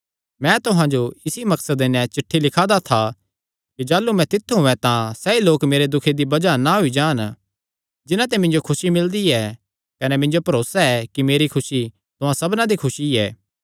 मैं तुहां जो इसी मकसद नैं चिठ्ठी लिखा दा था कि जाह़लू मैं तित्थु औयें तां सैई लोक मेरे दुखे दी बज़ाह ना होई जान जिन्हां ते मिन्जो खुसी मिलदी ऐ कने मिन्जो भरोसा ऐ कि मेरी खुसी तुहां सबना दी खुसी ऐ